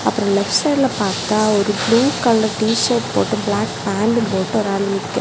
அப்புறம் லெப்ட் சைடுல பார்த்தா ஒரு ப்ளூ கலர் டி_ஷர்ட் போட்டு பிளாக் பாண்டும் போட்டு ஒருத்தர் நிக்கிறா.